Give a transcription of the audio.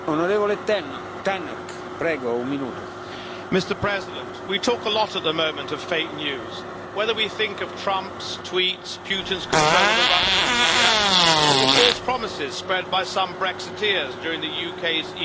Mr President, we talk a lot at the moment of fake news, whether we think of Trump's tweets, Putin's control of the Russian media or the false promises spread by some Brexiteers during the UK's EU referendum campaign.